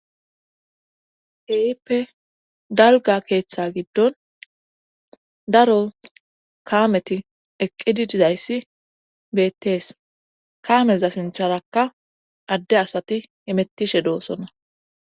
Keehippe dalga keeththa giddon daro kaameti eqqidi dizayssi bettees kaameza sintharakka adde asati hemettishe doosona.